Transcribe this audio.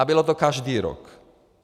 A bylo to každý rok.